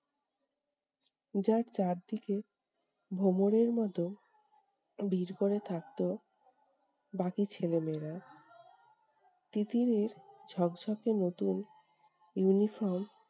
যার চার দিকে ভ্রমরের মতো ভিড় করে থাকতো বাকি ছেলে-মেয়েরা। তিতিরের ঝক্‌ঝকে নতুন uniform